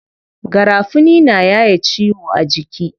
Garafuni na yaye ciwo a jiki.